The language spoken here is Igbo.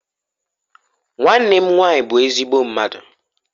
Nwannem nwanyi bu ezigbo mmadu.